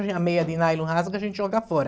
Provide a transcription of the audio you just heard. Hoje a meia de nylon rasga, a gente joga fora.